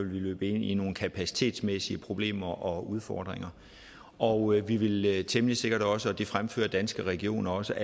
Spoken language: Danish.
løbe ind i nogle kapacitetsmæssige problemer og udfordringer og ville temmelig sikkert også og det fremfører danske regioner også